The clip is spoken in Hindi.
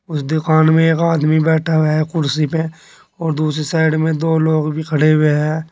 उस दुकान में एक आदमी बैठा है कुर्सी पे और दूसरी साइड में दो लोग भी खड़े हुए हैं।